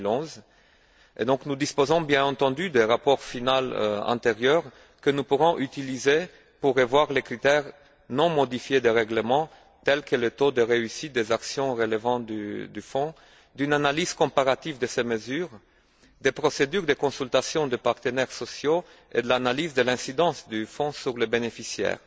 2011. Nous disposons bien entendu d'un rapport final antérieur que nous pourrons utiliser pour revoir les critères non modifiés du règlement, tels que le taux de réussite des actions relevant du fonds, d'une analyse comparative de ces mesures, des procédures de consultation des partenaires sociaux et de l'analyse de l'incidence du fonds sur les bénéficiaires.